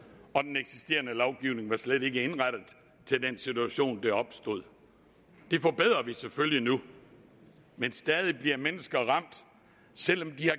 og den eksisterende lovgivning var slet ikke indrettet til den situation der opstod det forbedrer vi selvfølgelig nu men stadig bliver mennesker ramt selv om de